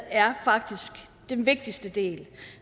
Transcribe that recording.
er faktisk den vigtigste del